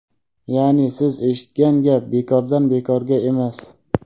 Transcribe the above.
Yaʼni, Siz eshitgan gap bekordan-bekorga emas.